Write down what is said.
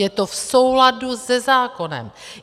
Je to v souladu se zákonem.